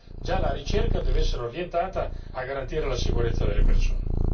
Dunque già la ricerca deve essere orientata a garantire la sicurezza delle persone.